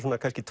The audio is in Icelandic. kannski